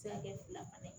Se ka kɛ fila fana ye